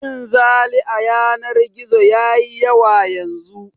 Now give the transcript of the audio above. Cin zali a yanar gizo ya yi yawa yanzu